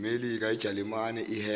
melika jalimane iheha